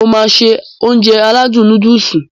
Mo máá se Ounjẹ aládùn nóódùsì